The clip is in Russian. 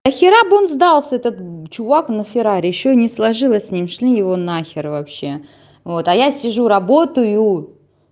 нахера бы он сдался этот чувак на ферари ещё и не сложилось с ним шли его нахер вообще вот а я сижу работаю